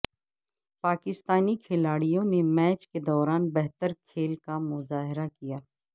پاکستانی کھلاڑیوں نے میچ کے دوران بہتر کھیل کا مظاہرہ کیا